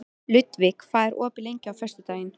Ludvig, hvað er opið lengi á föstudaginn?